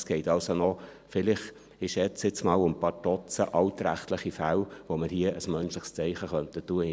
Also geht es vielleicht noch, ich schätzte jetzt einmal, um ein paar Dutzend altrechtliche Fälle, bei denen man hier ein menschliches Zeichen setzen könnte.